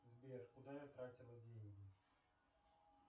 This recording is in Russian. сбер куда я тратила деньги